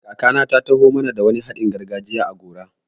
Kakana ta taho mana da wani haɗin gargajiya a gora.